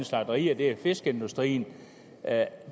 slagterier og fiskeindustrien